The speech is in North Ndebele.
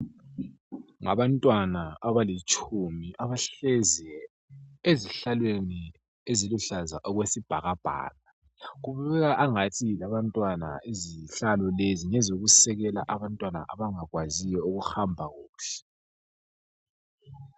Ngabantwana abalitshumi abahlezi ezihlalweni eziluhlaza okwesibhakabhaka. Kubukeka angathi yilabantwana izihlalo lezi ngezokusekela abantwana abangakwaziyo ukuhamba kuhle.